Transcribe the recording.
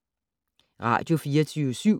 Radio24syv